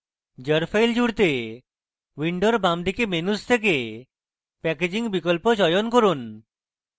jar file জুড়তে window বামদিকে menu থেকে packaging বিকল্প চয়ন করুন